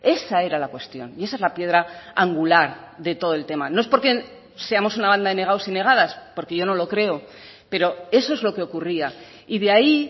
esa era la cuestión y esa es la piedra angular de todo el tema no es porque seamos una banda de negados y negadas porque yo no lo creo pero eso es lo que ocurría y de ahí